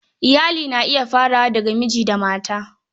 Iyali na iya farawa daga miji da mata.